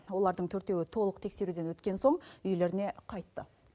олардың төртеуі толық тексеруден өткен соң үйлеріне қайтты